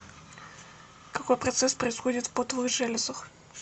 какой процесс происходит в потовых железах